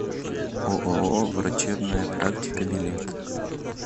ооо врачебная практика билет